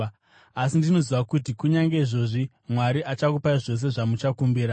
Asi ndinoziva kuti kunyange izvozvi Mwari achakupai zvose zvamuchakumbira.”